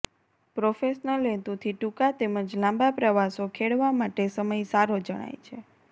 professional હેતુથી ટૂંકા તેમજ લાંબા પ્રવાસો ખેડવા માટે સમય સારો જણાય છે